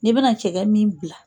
N'i bɛna cɛgɛ min bila